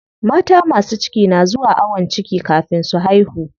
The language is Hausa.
Mata masu ciki na zuwa ayon ciki kafin su haihu.